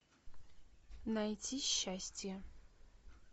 найти счастье